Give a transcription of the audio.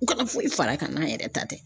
U ka foyi far'a kan n'an yɛrɛ ta tɛ